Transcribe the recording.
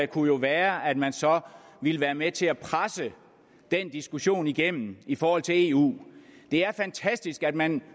kunne være at man så ville være med til at presse den diskussion igennem i forhold til eu det er fantastisk at man